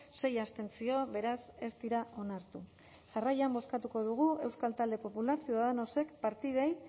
sei abstentzio beraz ez dira onartu jarraian bozkatuko dugu euskal talde popularra ciudadanosek partidei